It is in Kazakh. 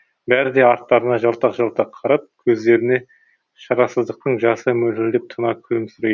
бәрі де арттарына жалтақ жалтақ қарап көздеріне шарасыздықтың жасы мөлтілдеп тұна күлімсірейді